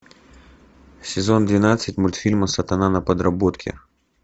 сезон двенадцать мультфильма сатана на подработке